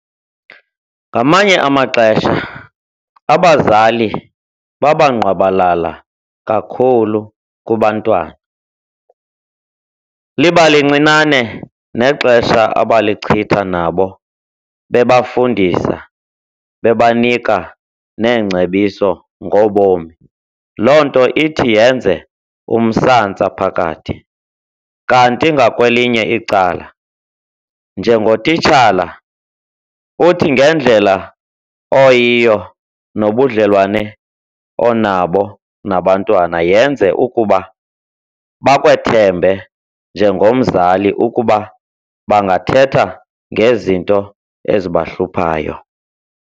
Ngamanye amaxesha abazali babangqwabalala kakhulu kubantwana, liba lincinane nexesha abalichitha nabo bebafundisa, bebanika neengcebiso ngobomi, loo nto ithi yenze umsantsa phakathi. Kanti ngakwelinye icala njengotitshala uthi ngendlela oyiyo nobudlelwane onabo nabantwana yenze ukuba bakwethembe njengomzali ukuba bangathetha ngezinto ezibahluphayo.